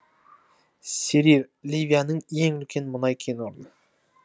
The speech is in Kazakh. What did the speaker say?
серир ливияның ең үлкен мұнай кенорны